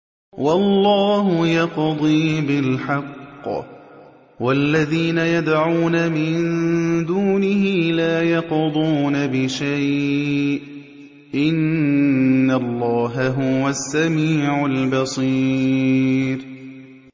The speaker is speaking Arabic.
وَاللَّهُ يَقْضِي بِالْحَقِّ ۖ وَالَّذِينَ يَدْعُونَ مِن دُونِهِ لَا يَقْضُونَ بِشَيْءٍ ۗ إِنَّ اللَّهَ هُوَ السَّمِيعُ الْبَصِيرُ